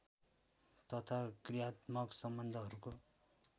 तथा क्रियात्मक सम्बन्धहरूको